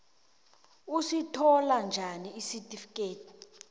usithola njani isitifikethi